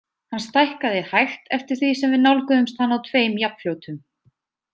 Hann stækkaði hægt eftir því sem við nálguðumst hann á tveim jafnfljótum.